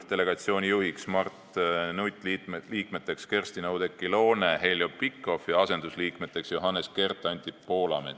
Delegatsiooni juht on Mart Nutt, liikmed Kerstin-Oudekki Loone ja Heljo Pikhof ning asendusliikmed Johannes Kert ja Anti Poolamets.